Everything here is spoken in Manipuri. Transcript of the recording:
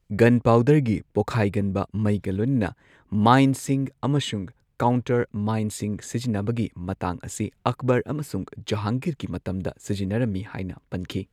ꯒꯟꯄꯥꯎꯗꯔꯒꯤ ꯄꯣꯈꯥꯏꯒꯟꯕ ꯃꯩꯒ ꯂꯣꯏꯅꯅ ꯃꯥꯏꯟꯁꯤꯡ ꯑꯃꯁꯨꯡ ꯀꯥꯎꯟꯇꯔ ꯃꯥꯏꯟꯁꯤꯡ ꯁꯤꯖꯤꯟꯅꯕꯒꯤ ꯃꯇꯥꯡ ꯑꯁꯤ ꯑꯛꯕꯔ ꯑꯃꯁꯨꯡ ꯖꯍꯥꯡꯒꯤꯔꯒꯤ ꯃꯇꯝꯗ ꯁꯤꯖꯤꯟꯅꯔꯝꯃꯤ ꯍꯥꯏꯅ ꯄꯟꯈꯤ꯫